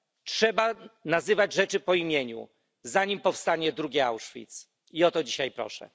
Trzeba nazywać rzeczy po imieniu, zanim powstanie drugi Auschwitz. I o to dzisiaj proszę.